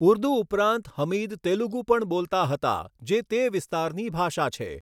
ઉર્દુ ઉપરાંત હમીદ તેલુગુ પણ બોલતા હતા, જે તે વિસ્તારની ભાષા છે.